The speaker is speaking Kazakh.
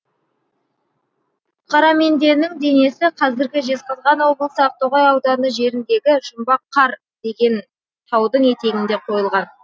қараменденің денесі қазіргі жезқазған облысы ақтоғай ауданы жеріндегі жұмбақ қар деген таудың етегінде қойылған